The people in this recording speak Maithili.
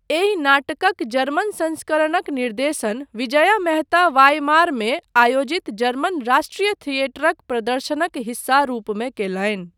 एहि नाटकक जर्मन संस्करणक निर्देशन विजया मेहता वाइमारमे आयोजित जर्मन राष्ट्रीय थियेटरक प्रदर्शनक हिस्सा रूपमे कयलनि।